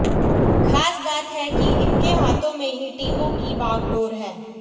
खास बात है कि इनके हाथों में ही टीमों की बागडोर है